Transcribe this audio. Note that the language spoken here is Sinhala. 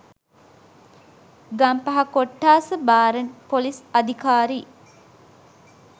ගම්පහ කොට්ඨාස භාර පොලිස් අධිකාරී